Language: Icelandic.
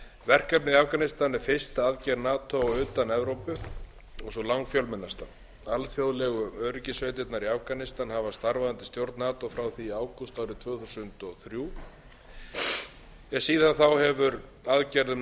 verkefnið í afganistan er fyrsta aðgerð nato utan evrópu og sú langfjölmennasta alþjóðlegu öryggissveitirnar í afganistan hafa starfað undir stjórn nato frá því í ágúst árið tvö þúsund og þrjú en síðan þá hefur aðgerðum